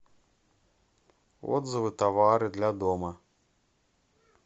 отзывы товары для дома